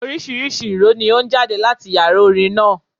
Oríṣiríṣi ìró ni ó ń jáde láti Yàrá orin náà.